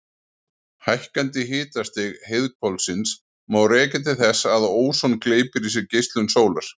Hækkandi hitastig heiðhvolfsins má rekja til þess að óson gleypir í sig geislun sólar.